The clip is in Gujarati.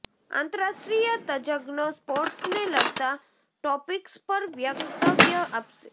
આંતરાષ્ટ્રીય તજજ્ઞો સ્પોર્ટસને લગતા ટોપિક્સ પર વક્તવ્ય આપશે